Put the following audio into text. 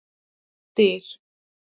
Styr